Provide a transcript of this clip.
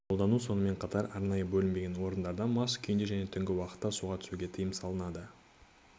қолдану сонымен қатар арнайы бөлінбеген орындарда мас күйінде және түнгі уақытта суға түсуге тайым салынады